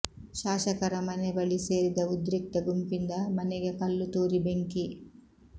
ಶಾಸಕರ ಮನೆ ಬಳಿ ಸೇರಿದ ಉದ್ರಿಕ್ತ ಗುಂಪಿಂದ ಮನೆಗೆ ಕಲ್ಲು ತೂರಿ ಬೆಂಕಿ